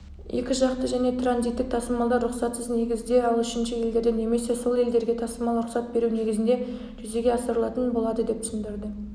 екіжақты және транзиттік тасымалдар рұқсатсыз негізде ал үшінші елдерден немесе сол елдерге тасымал рұқсат беру негізінде жүзеге асырылатын болады деп түсіндірді